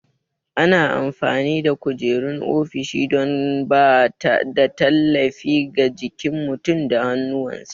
Ana amfani da kujerun ofishi don ba da tallafi ga jikin mutum da hannuwansa.